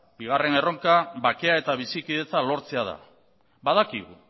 bakea eta bizikidetza lortzea da badakigu